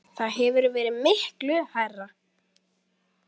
Það hefur verið miklu hærra.